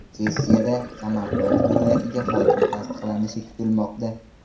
Sessiyada Samarqand viloyatiga hokim tasdiqlanishi kutilmoqda.